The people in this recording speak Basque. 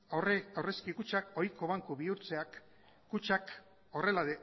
aurrezki kutxak ohiko banku bihurtzeak kutxak horrela